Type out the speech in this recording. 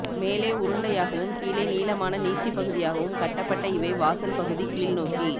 மேலே உருண்டையாகவும் கீழே நீளமான நீட்சிப்பகுதியாகவும் கட்டப்பட்ட இவை வாசல் பகுதி கீழ்னோக்கி